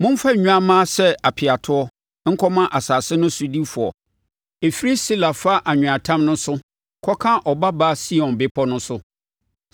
Momfa nnwammaa sɛ apeatoɔ nkɔma asase no sodifoɔ, ɛfiri Sela fa anweatam no so, kɔka Ɔbabaa Sion bepɔ no so.